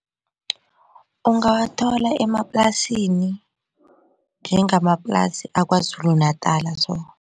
Ungawathola emaplasini njengamaplasi aKwaZulu-Natala so.